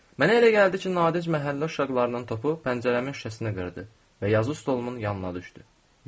Mənə elə gəldi ki, Nadic məhəllə uşaqlarından topu pəncərəmin şüşəsinə qırdı və yazı stolumun yanına düşdü.